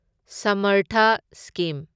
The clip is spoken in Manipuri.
ꯁꯃꯔꯊꯥ ꯁ꯭ꯀꯤꯝ